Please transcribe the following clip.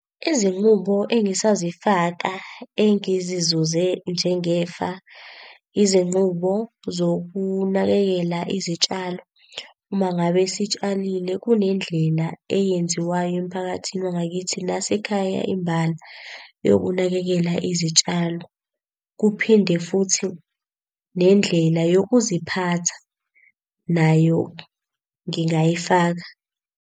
Izinqubo engisazifaka engizizuze njengefa, izinqubo zokunakekela izitshalo. Uma ngabe sitshalile kunendlela eyenziwayo emphakathini wangakithi nase ekhaya imbala yokunakekela izitshalo. Kuphinde futhi nendlela yokuziphatha nayo ngingayifaka.